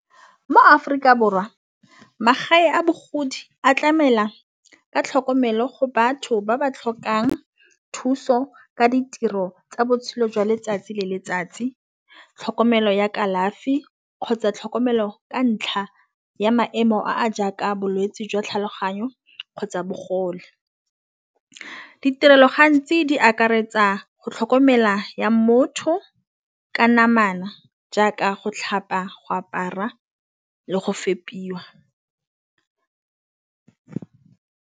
Mo-Aforika Borwa magae a bogodi a tlamela ka tlhokomelo go batho ba ba tlhokang thuso ka ditiro tsa botshelo jwa letsatsi le letsatsi. Tlhokomelo ya kalafi kgotsa tlhokomelo ka ntlha ya maemo a jaaka bolwetsi jwa tlhaloganyo kgotsa bogole. Ditirelo gantsi di akaretsa go tlhokomela ya motho ka namana jaaka go tlhapa go apara le go fepiwa.